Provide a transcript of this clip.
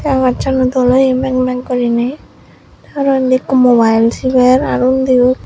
agasan ow doll oiay mak mak gorinaie arow indi eko mobile sibare arow undi.